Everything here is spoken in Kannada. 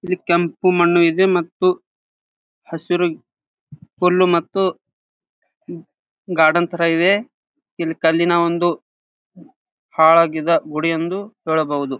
ಕೆಂಪು ಮಣ್ಣು ಇದೆ ಮತ್ತು ಹಸಿರು ಹುಲ್ಲು ಮತ್ತು ಗಾರ್ಡನ್ ತರ ಇದೆ ಈದ್ ಕಲ್ಲಿನ ಒಂದು ಹಾಳಾಗಿದ್ದ ಗುಡಿ ಎಂದು ಹೇಳಬಹುದು.